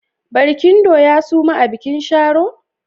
Barkindo ya suma a bikin Sharo?